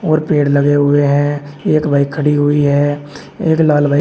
और पेड़ लगे हुए हैं एक बाइक खड़ी हुई है एक लाल बाइ--